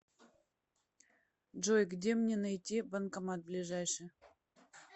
джой где мне найти банкомат ближайший